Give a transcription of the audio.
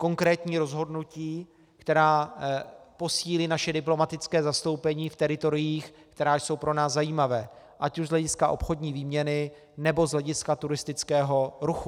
Konkrétní rozhodnutí, která posílí naše diplomatická zastoupení v teritoriích, která jsou pro nás zajímavá ať už z hlediska obchodní výměny, nebo z hlediska turistického ruchu.